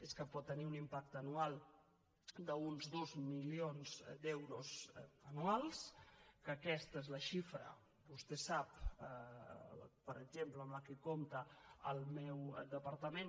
és que pot tenir un impacte anual d’uns dos milions d’euros anuals que aquesta és la xifra vostè ho sap per exemple amb què compta el meu departament